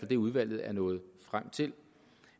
det udvalget er nået frem til